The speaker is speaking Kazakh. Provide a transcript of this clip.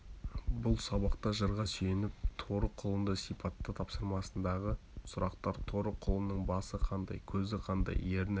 бұл сабақта жырға сүйеніп торы құлынды сипатта тапсырмасындағы сұрақтар торы құлынның басы қандай көзі қандай ерні